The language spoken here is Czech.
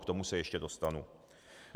K tomu se ještě dostanu.